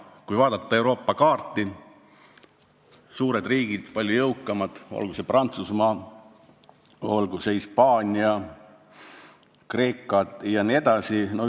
Kui me vaatame Euroopa kaarti, vaatame suuri ja meist palju jõukamaid riike – olgu see Prantsusmaa, olgu see Hispaania või Kreeka –, siis näeme, et idee on tegelikult õige.